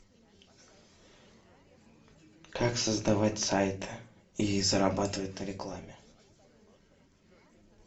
как создавать сайты и зарабатывать на рекламе